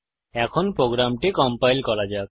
এখন প্রোগ্রামটি কম্পাইল করা যাক